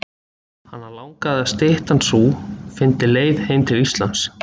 Hana langaði til að styttan sú fyndi leið heim til Íslands.